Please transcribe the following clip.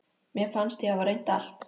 Mér fannst ég hafa reynt allt.